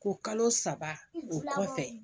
Ko kalo saba o kɔfɛ